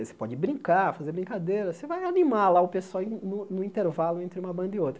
Você pode brincar, fazer brincadeiras, você vai animar lá o pessoal no no intervalo entre uma banda e outra.